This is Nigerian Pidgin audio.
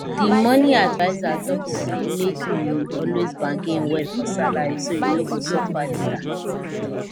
the money adviser talk say make you always bargain well for salary so you no go suffer later